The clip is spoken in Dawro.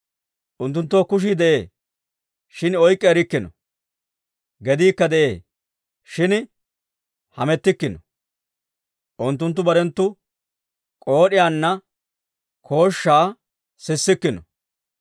Unttunttoo kushii de'ee; shin oyk'k'i erikkino; gediikka de'ee; shin hamettikkino; unttunttu barenttu pillanttiyaanna kooshshaa sissikkino.